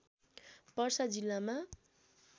पर्सा जिल्लामा